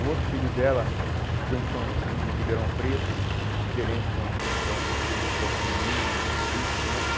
O outro filho dela ficou em São em Ribeirão Preto, gerente do do da Pinguim, muito tempo.